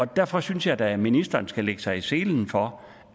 derfor synes jeg da at ministeren skal lægge sig i selen for